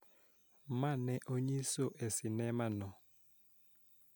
Ma ne onyiso e sinema no